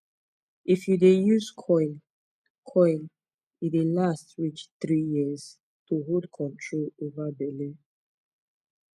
if u dey use coil coil e dey last reach 3yrs to hold control over belle